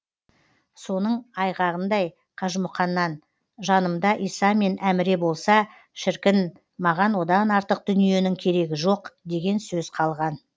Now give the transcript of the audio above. соның айғағындай қажымұқаннан жанымда иса мен әміре болса шіркін маған одан артық дүниенің керегі жоқ деген сөз қалған